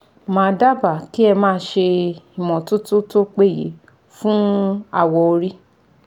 Màá dábàá kí ẹ máa ṣe ìmọ́totó tó péye fún awọ orí